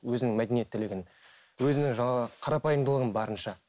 өзінің мәдениеттілігін өзінің жаңағы қарапайымдылығын барынша